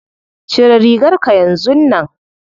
Cire rigarka yanzun nan.